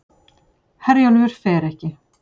Herjólfur fer ekki